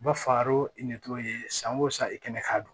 U b'a far'o san o san i kɛnɛ ka don